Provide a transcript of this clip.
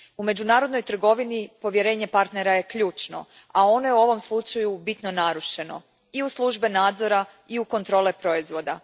U međunarodnoj trgovini povjerenje partnera je ključno, a ono je u ovom slučaju bitno narušeno i u službe nadzora i u kontrole proizvoda.